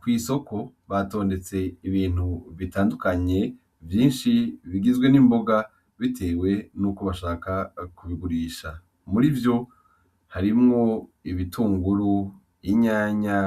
Kw’isoko batondetse ibintu bitandukanye , vyinshi bigizwe n’imboga bitewe nuko bashaka kubigurisha . Muri vyo harimwo ibitunguru, inyanya,